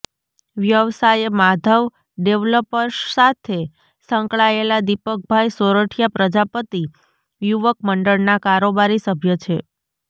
વ્યવસાયે Madhav developers સાથે સંકળાયેલા દિપકભાઇ સોરઠીયા પ્રજાપતિ યુવક મંડળના કારોબારી સભ્ય છે